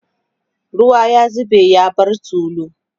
ruwa ya zube ya bar tulu